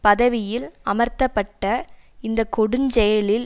பதவியில் அமர்த்தப்பட்ட இந்த கொடுஞ் செயலில்